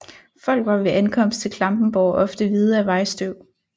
Folk var ved ankomst til Klampenborg ofte hvide af vejstøv